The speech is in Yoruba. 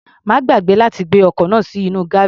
Má gbàgbé láti gbé ọkọ̀ náà sínú gárèjì.